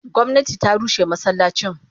Gomnati ta rushe masallacin.